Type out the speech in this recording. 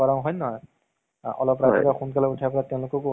তো অ দৃশ্যম। ইমান suspense আছে জানা movies টোত মানে।